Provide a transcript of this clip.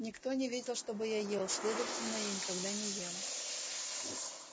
никто не видел чтобы я ел следовательно я никогда не ем